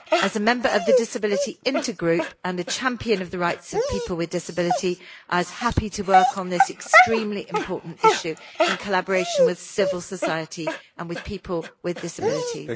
As a member of the Disability Intergroup and a champion of the rights of people with disability, I was happy to work on this extremely important issue in collaboration with civil society and with people with disabilities.